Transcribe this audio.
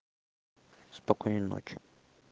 спокойной ночи